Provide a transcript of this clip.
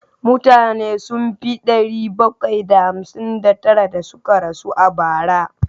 Mutane sun fi ɗari bakwai da hamsin da tara da suka rasu a bara.